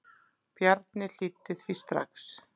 Bjarni hlýddi því strax.